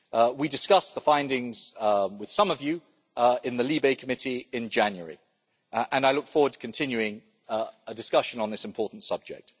We discussed the findings with some of you in the LIBE Committee in January and I look forward to continuing a discussion on this important subject.